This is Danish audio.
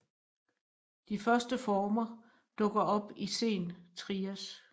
De første former dukkede op i sen Trias